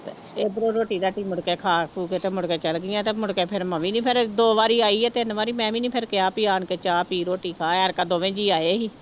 ਇੱਧਰੋਂ ਰੋਟੀ ਰਾਟੀ ਮੁੜਕੇ ਖਾ ਖੂ ਕੇ ਤੇ ਮੁੜਕੇ ਚਲੇ ਗਈਆਂ ਤੇ ਮੁੜ ਕੇ ਫਿਰ ਮੈਂ ਵੀ ਨੀ ਫਿਰ ਦੋ ਵਾਰੀ ਹੈ ਤਿੰਨ ਵਾਰੀ, ਮੈਂ ਵੀ ਨੀ ਫਿਰ ਕਿਹਾ ਵੀ ਆਣ ਕੇ ਚਾਹ ਪੀ ਰੋਟੀ ਖਾ ਦੋਵੇਂ ਜੀਅ ਆਏ ਸੀ।